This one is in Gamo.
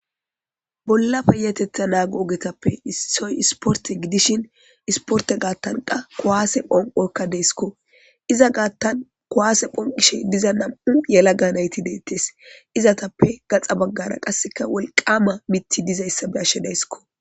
bolla peyatetha naago ogetappe issoy isporte gidishin isporte gaattanqa kowaase phonqokka deesiko iza gaattan kuwaase phonqishe diza nam7u yela ga nayti deettes izatappe gaxa baggara qasseka wolqama mitti dizayssa beashedaysko